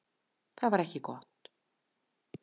Það var ekki gott.